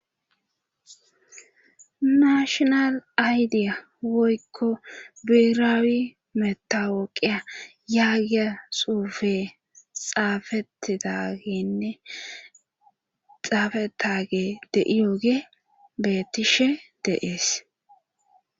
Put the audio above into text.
Nashonal aydiya woykko biiraawi metawoqiya yaagiya xuufe xaafetidagenne xaafetage deiyoge betishe deees